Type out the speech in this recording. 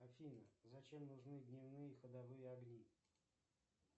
афина зачем нужны дневные ходовые огни